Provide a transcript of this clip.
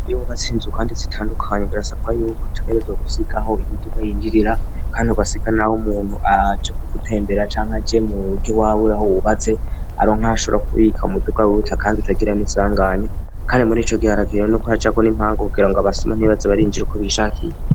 Iibubatse inzu kandi zitandukanye birasapwaro imiboko twerezwa gusigaaho imiduga yinjirira kandi abasiga nawo umuntu aje ko gutembera cangwa je mu rye waburaho bubatse aro nkashobora kubika umuduga bita kandi utagira n'isanganya kandi muri ico giharakiiwe n'uko racako n'impanga kugira ngo abasoma ntibaze barinjira uko bishakiye.